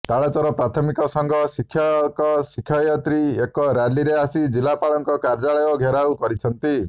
ତାଳଚେର ପ୍ରାଥମିକ ସଂଘ ଶିକ୍ଷକଶିକ୍ଷୟତ୍ରୀ ଏକ ରାଲିରେ ଆସି ଜିଲ୍ଲାପାଳଙ୍କ କାର୍ଯ୍ୟାଳୟ ଘେରାଉ କରିଛନ୍ତି